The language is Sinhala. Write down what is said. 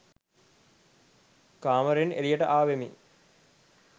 කාමරයෙන් එලියට ආවෙමි.